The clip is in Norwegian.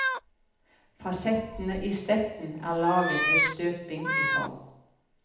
Fasettene i stetten er laget ved støping i form.